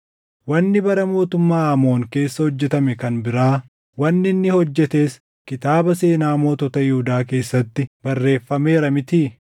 Wanni bara mootummaa Aamoon keessa hojjetame kan biraa, wanni inni hojjetes kitaaba seenaa mootota Yihuudaa keessatti barreeffameera mitii?